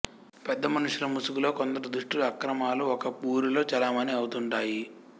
పెద్ద మనుషుల ముసుగులో కొందరు దుష్టుల అక్రమాలు ఒక వూరిలో చలామణీ అవుతుంటాయి